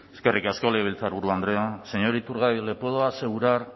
eskerrik asko legebiltzarburu andrea señor iturgaiz le puedo asegurar